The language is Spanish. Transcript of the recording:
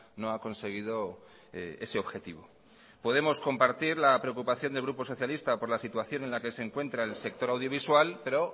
no ha conseguido ese objetivo podemos compartir la preocupación del grupo socialista por la situación en la que se encuentra el sector audiovisual pero